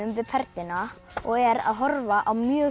við Perluna og er að horfa á mjög